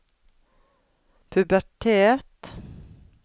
pubertet